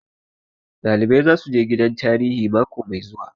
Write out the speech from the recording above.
Ɗalibai zasu je gidan tarihi mako mai zuwa